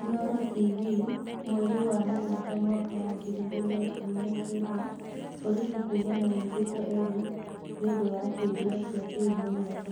Inooro TV, mweri wa mũgwanja mwaka wa ngiri igĩrĩ na ikũmi nakenda, borithi kuga manyitĩte Erick nĩũndũ wa kĩũria kĩa kĩhumo gĩake.